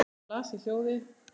Hann las í hljóði